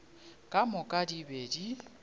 ka moka di be di